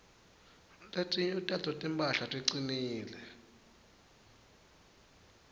letinye tato timphahla ticinile